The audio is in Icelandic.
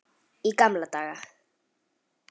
Í gamla daga.